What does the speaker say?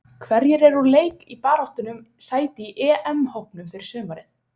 Hverjir eru úr leik í baráttunni um sæti í EM-hópnum fyrir sumarið?